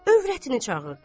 Övrətini çağırdı.